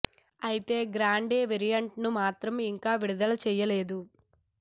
అయితే grande variant ను మాత్రం ఇంకా విడుదల చేయలేదు